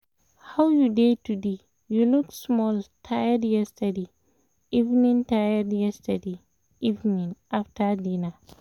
how you dey today? you look small tired yesterday evening tired yesterday evening after dinner.